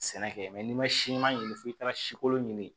Sɛnɛ kɛ n'i ma siman ɲini fo i taara si kolon ɲini